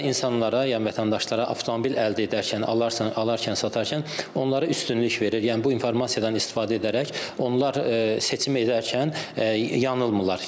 Bu da insanlara, yəni vətəndaşlara avtomobil əldə edərkən, alarkən, satarkən onları üstünlük verir, yəni bu informasiyadan istifadə edərək onlar seçim edərkən yanılmırlar.